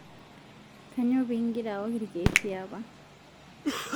Kainyoo pii ngira aok ilkeek liapa?